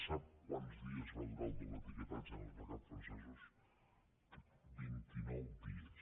sap quants dies va durar el doble etiquetatge en els mercats francesos vint i nou dies